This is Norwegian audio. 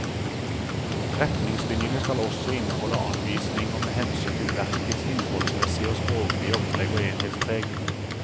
Retningslinjene skal også inneholde anvisninger med hensyn til verkets innholdsmessige og språklige opplegg og enhetspreg.